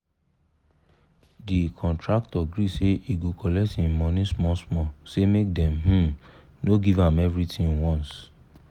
the contractor gree say he go collect him money small small say make dem um no give am everythin once